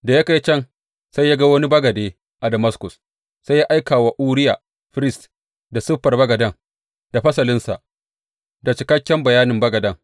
Da ya kai can sai ya ga wani bagade a Damaskus, sai ya aika wa Uriya firist, da siffar bagaden, da fasalinsa, da cikakken bayanin bagaden.